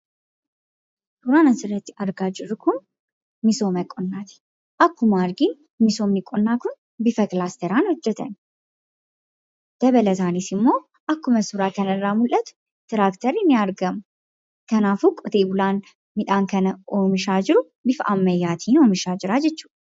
Suuran asirratti argaa jirru kun misooma qonnaati. Akkuma arginu misoomni qonnaa kun bifa kilaastaraan hojjatame. Dabalataanis immoo akkuma suuraa kanarraa mul'atu tiraakterri ni argama. Kanaafuu qotee bulaan midhaan kana oomishaa bifa ammayyaatiin oomishaa jira jechuudha.